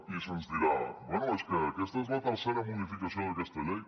i se’ns dirà bé és que aquesta és la tercera modificació d’aquesta llei